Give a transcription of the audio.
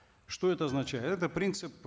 что это означает это принцип